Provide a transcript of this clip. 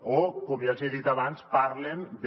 o com ja els hi he dit abans parlen de